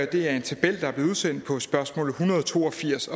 det er en tabel der er blevet udsendt på spørgsmål en hundrede og to og firs